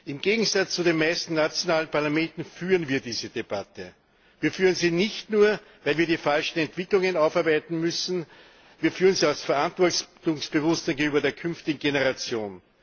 Im Gegensatz zu den meisten nationalen Parlamenten führen wir diese Debatte. Wir führen sie nicht nur, weil wir die falschen Entwicklungen aufarbeiten müssen, wir führen sie aus Verantwortungsbewusstsein gegenüber der künftigen Generation.